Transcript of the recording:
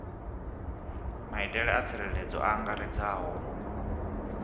maitele a tsireledzo a angaredzaho